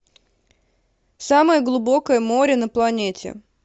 самое глубокое море на планете